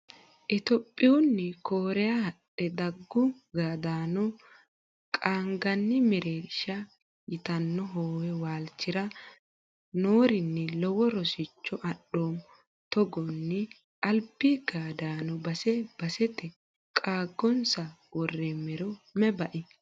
Itophiyuni koriya hadhe gaadu gaaddano qaanqanni mereersha yitano hoowe waalchira noorini lowo rosicho adhoommo togonni albi gaaddano base basete qaagonsa woromero mayi bai.